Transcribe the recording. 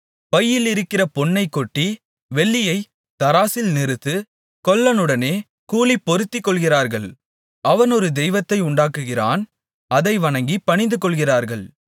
பையிலிருக்கிற பொன்னைக்கொட்டி வெள்ளியைத் தராசில் நிறுத்து கொல்லனுடனே கூலி பொருத்திக்கொள்கிறார்கள் அவன் ஒரு தெய்வத்தை உண்டாக்குகிறான் அதை வணங்கிப் பணிந்துகொள்ளுகிறார்கள்